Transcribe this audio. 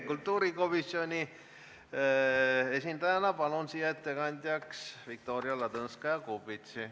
Kultuurikomisjoni esindajana palun siia ettekandjaks Viktoria Ladõnskaja-Kubitsi.